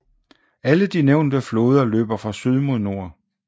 Alle de nævnte floder løber fra syd mod nord